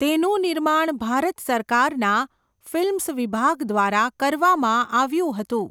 તેનું નિર્માણ ભારત સરકારના ફિલ્મ્સ વિભાગ દ્વારા કરવામાં આવ્યું હતું.